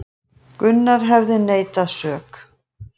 Gunnar hefði neitað sök